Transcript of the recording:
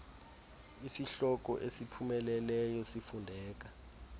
isihloko esipheleleyo sifundeka